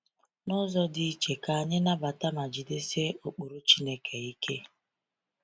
N’ụzọ dị iche, ka anyị nabata ma jidesie ụkpụrụ Chineke ike.